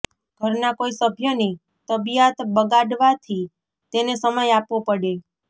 ઘરના કોઈ સભ્યની તબીયાત બગાડવાથી તેને સમય આપવો પડે